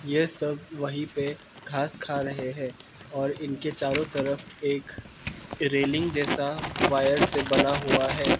ये सब वहीं पे घास खा रहे हैं और इनके चारों तरफ एक रेलिंग जैसा वायर से बना हुआ है।